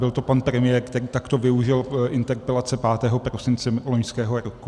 Byl to pan premiér, který takto využil interpelace 5. prosince loňského roku.